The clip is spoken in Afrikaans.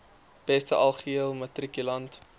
beste algehele matrikulant